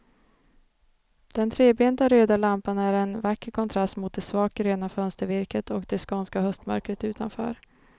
Den trebenta röda lampan är en vacker kontrast mot det svagt gröna fönstervirket och det skånska höstmörkret utanför.